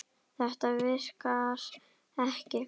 Þetta virkar ekki.